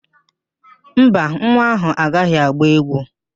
Mba, nwa áhụ̀ agaghị agba égwú